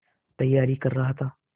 तैयारी कर रहा था